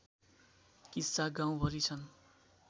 किस्सा गाउँभरि छन्